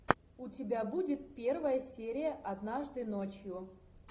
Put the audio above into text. у тебя будет первая серия однажды ночью